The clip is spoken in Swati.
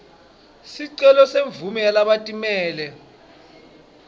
sicelo semvumo yalabatimele